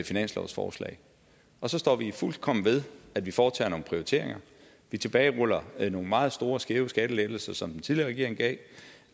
finanslovsforslag så står vi fuldkommen ved at vi foretager nogle prioriteringer vi tilbageruller nogle meget store skæve skattelettelser som den tidligere regering gav